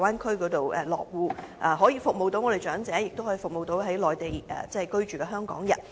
這樣既可以服務長者，也可以服務在內地居住的香港人。